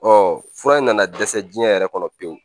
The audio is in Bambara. Ɔ fura in nana dɛsɛ diɲɛ yɛrɛ kɔnɔ pewu